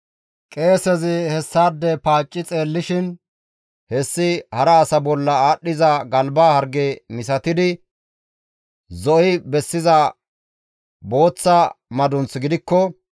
Qeesezi hessaade paacci xeellishin hessi hara asa bolla aadhdhiza galba harge misatidi zo7i bessiza booththa madunth gidikko,